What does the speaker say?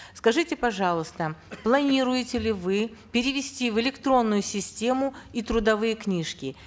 скажите пожалуйста планируете ли вы перевести в электронную систему и трудовые книжки